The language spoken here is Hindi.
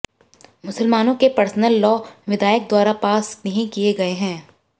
मुसलमानों के पर्सनल लॉ विधायकद्वारा पास नहीं किए गए हैं